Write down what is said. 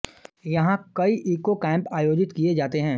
यहां कई eco camp आयोजित किए जाते हैं